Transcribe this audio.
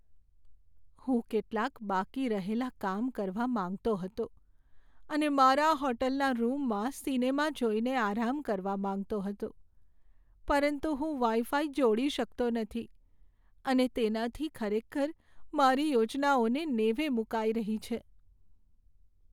હું કેટલાક બાકી રહેલા કામ કરવા માંગતો હતો અને મારા હોટલના રૂમમાં સિનેમા જોઈને આરામ કરવા માંગતો હતો, પરંતુ હું વાઈફાઈ જોડી શકતો નથી, અને તેનાથી ખરેખર મારી યોજનાઓને નેવે મૂકાઈ રહી છે.